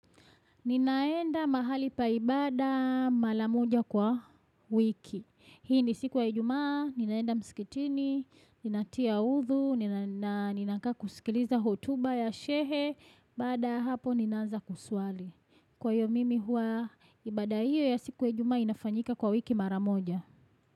Ninaenda mahali paibada malamuja kwa wiki. Hii ni siku ya ijumaa, ninaenda mskitini, ninatia udhu, na ninakaa kusikiliza hotuba ya shekhe, baada hapo ninaanza kusuali. Kwa hiyo mimi huwa, ibada hiyo ya siku ya ijumaa inafanyika kwa wiki mara moja.